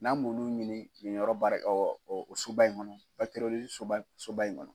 N'an m'ulu ɲini nin yɔrɔ baara soba in kɔnɔ soba soba in kɔnɔ.